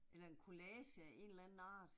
Eller en collage af en eller anden art